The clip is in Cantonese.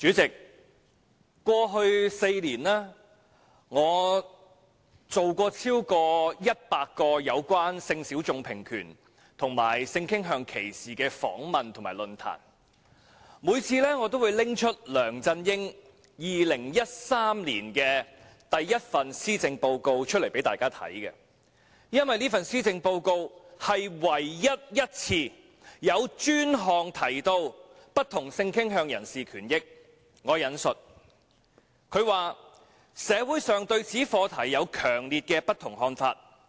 主席，過去4年，我曾進行超過100個有關性小眾平權及性傾向歧視的訪問和論壇，每次我也會拿出梁振英2013年首份施政報告給大家看，因為這份施政報告是唯一一份有專項提到不同性傾向人士權益："社會上對此課題有強烈的不同看法。